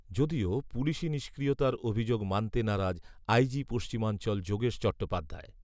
যদিও পুলিশি নিষ্ক্রিয়তার অভিযোগ মানতে নারাজ আই জি পশ্চিমাঞ্চল যোগেশ চট্টোপাধ্যায়